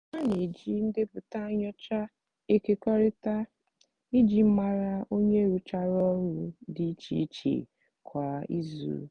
ha n'eji ndepụta nyocha ekekọrịtara iji mara onye rụchara ọlụ di iche iche kwa izu.